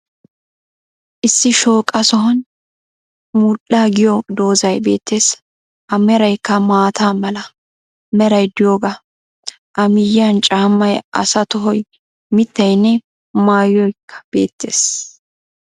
Issi shooqa sohon mudhdhaa giyo doozay beettees. A meraykka maataa mala meray de'iyoga, a miyiyan caammay, asa tohoy, miittaynne maayoykka beettees.